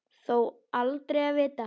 Þó aldrei að vita.